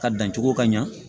Ka dan cogo ka ɲa